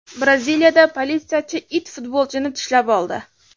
Braziliyada politsiyachi it futbolchini tishlab oldi.